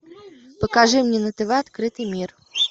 покажи мне на тв открытый мир